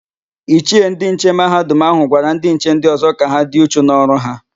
Ichie ndịnche Mahadum áhụ̀ gwara ndịnche ndị ọ̀zọ́ ka ha dị uchu n'ọrụ ha.